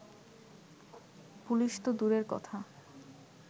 police তো দূরের কথা